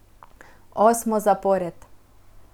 Osmo zapored.